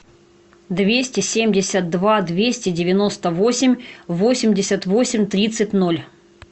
двести семьдесят два двести девяносто восемь восемьдесят восемь тридцать ноль